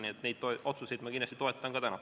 Nii et neid otsuseid ma kindlasti toetan ka täna.